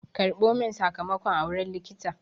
Karɓo min sakamakon a wurin likita!